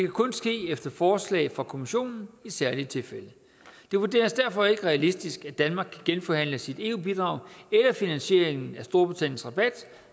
kun ske efter forslag fra kommissionen i særlige tilfælde det vurderes derfor ikke realistisk at danmark skal genforhandle sit eu bidrag eller finansieringen af storbritanniens rabat